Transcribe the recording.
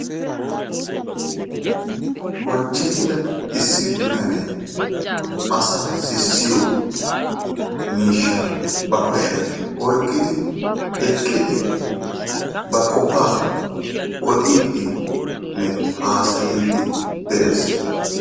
Bonchchetida issi bitanee asaa sissiyo miishsha ba kushiyaan oyqqidi eqqidi ba qofaa ododdinne hasayddi de'ees.